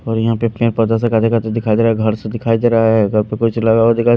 और यहां पे दिखाई दे रहा है घर से दिखाई दे रहा है घर पे कुछ लग--